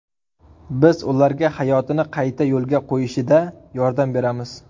Biz ularga hayotini qayta yo‘lga qo‘yishida yordam beramiz.